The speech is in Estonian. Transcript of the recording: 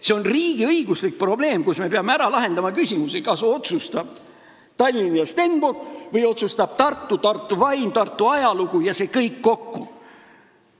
See on riigiõiguslik probleem ja me peame ära lahendama küsimuse, kas otsustavad Tallinn ja Stenbock või otsustavad Tartu, Tartu vaim, Tartu ajalugu – see kõik kokku.